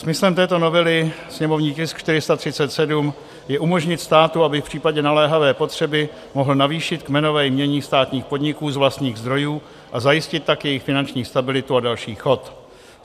Smyslem této novely, sněmovní tisk 437, je umožnit státu, aby v případě naléhavé potřeby mohl navýšit kmenové jmění státních podniků z vlastních zdrojů a zajistit tak jejich finanční stabilitu a další chod.